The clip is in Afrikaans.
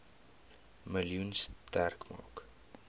miljoen sterk maak